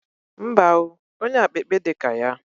Mba o onye akpikpi di ka ya!